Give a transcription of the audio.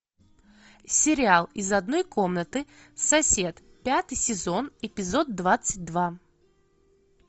сериал из одной комнаты сосед пятый сезон эпизод двадцать два